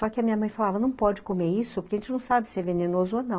Só que a minha mãe falava, não pode comer isso, porque a gente não sabe se é venenoso ou não.